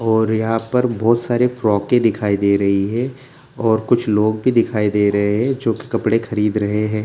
और यहाँ पर बहुत सारे फ्रोके भी दिखाई दे रही हैं और कुछ लोग भी दिखाई दे रहे हैं जो कि कपड़े खरीद रहे हैं।